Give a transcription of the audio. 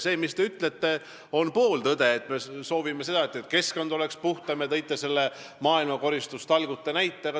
See, mis te ütlesite, on pooltõde, et me soovime seda, et keskkond oleks puhtam, ja te tõite selle maailmakoristustalgute näite.